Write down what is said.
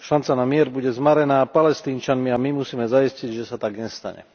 Šanca na mier bude zmarená Palestínčanmi a my musíme zaistiť, že sa tak nestane.